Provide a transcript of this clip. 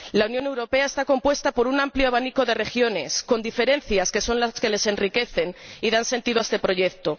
La Unión Europea está compuesta por un amplio abanico de regiones, con diferencias que son las que las enriquecen y dan sentido a este proyecto